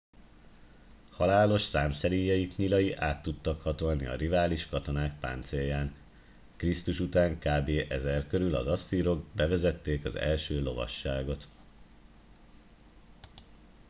halálos számszeríjaik nyilai át tudtak hatolni a rivális katonák páncélján krisztus után kb 1000 körül az asszírok bevezették első a lovasságot